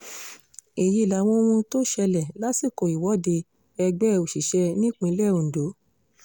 èyí làwọn ohun tó ṣẹlẹ̀ lásìkò ìwọ́de ẹgbẹ́ òṣìṣẹ́ nípínlẹ̀ ondo